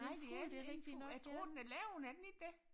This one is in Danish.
Nej det er det er en fugl og jeg tror den er levende er den ikke det